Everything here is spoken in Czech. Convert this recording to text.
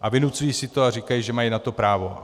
A vynucují si to a říkají, že na to mají právo.